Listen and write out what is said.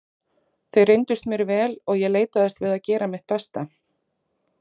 Þeir reyndust mér vel og ég leitaðist við að gera mitt besta.